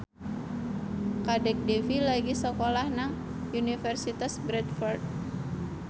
Kadek Devi lagi sekolah nang Universitas Bradford